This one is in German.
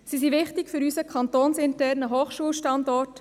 Sie sind wichtig für unseren kantonsinternen Hochschulstandort.